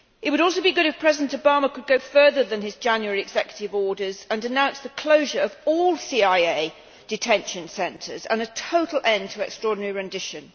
It would also be good if President Obama could go further than his January executive orders and announce the closure of all CIA detention centres and a total end to extraordinary rendition.